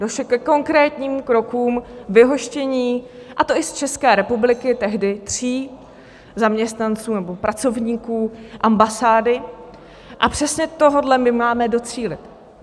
Došlo ke konkrétním krokům vyhoštění, a to i z České republiky, tehdy tří zaměstnanců nebo pracovníků ambasády, a přesně tohohle my máme docílit.